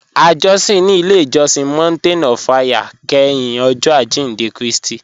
À jọ̀sìn ní ilẹ̀ ìjọ̀sìn Mountain of Fire kẹ́hìn Ọ̀jọ̀ Ajíndẹ̀ Kristi